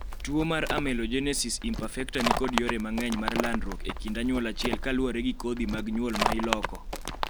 tuo mar Amelogenesis imperfecta nikod yore mang'eny mar landruok e kind anyuola achiel kaluwore kodhi mag nyuol ma iloko